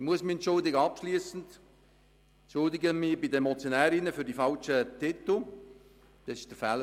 Ich muss mich abschliessend bei den Motionärinnen für die falschen